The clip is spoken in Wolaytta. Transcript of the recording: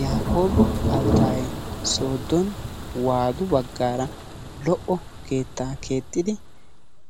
Yaaqqobaa Alttayee sooddon waadu baggaara lo"o keettaa keexxidi